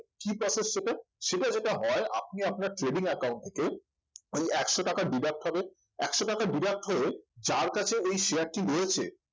কি process সেটা সেটা যেটা হয় আপনি আপনার trading account থেকে ওই একশো টাকা deduct হবে একশো টাকা deduct হয়ে যার কাছে ওই share টি রয়েছে